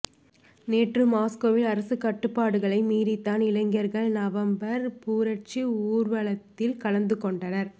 நேற்று மாஸ்கோவில் அரசு கட்டுப்பாடுகளை மீறித்தான் இளைஞர்கள் நவம்பர் புரட்சி ஊர்வலத்தில் கலந்து கொண்டனர்